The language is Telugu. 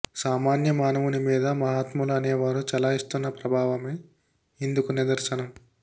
సామాన్య మానవుని మీద మహాత్ములు అనేవారు చలాయిస్తున్న ప్రభావమే ఇందుకు నిదర్శనం